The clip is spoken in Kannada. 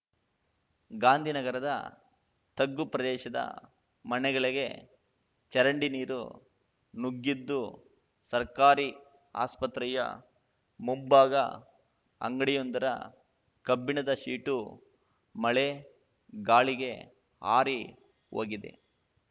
ಗಾಂಧಿನಗರದ ತಗ್ಗು ಪ್ರದೇಶದ ಮನೆಗಳಿಗೆ ಚರಂಡಿ ನೀರು ನುಗ್ಗಿದ್ದು ಸರ್ಕಾರಿ ಆಸ್ಪತ್ರೆಯ ಮುಂಭಾಗ ಅಂಗಡಿಯೊಂದರ ಕಬ್ಬಿಣದ ಶೀಟು ಮಳೆ ಗಾಳಿಗೆ ಹಾರಿ ಹೋಗಿದೆ